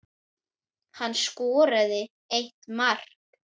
Hann skoraði eitt mark.